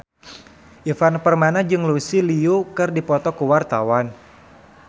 Ivan Permana jeung Lucy Liu keur dipoto ku wartawan